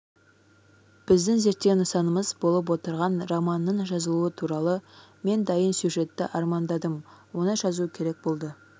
біздің зерттеу нысанымыз болып отырған романының жазылуы туралы мен дайын сюжетті армандадым оны жазу керек болды